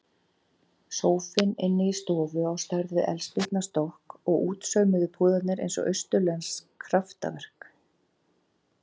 Sófinn inni í stofu á stærð við eldspýtnastokk og útsaumuðu púðarnir eins og austurlensk kraftaverk.